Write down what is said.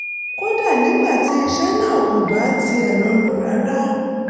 kódà nígbà tí iṣẹ́ náà ò bá tiẹ̀ rọrùn rárá